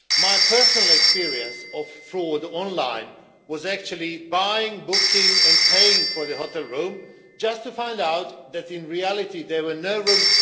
My personal experience of fraud online was actually buying, booking and paying for a hotel room only to find out that in reality there were no rooms...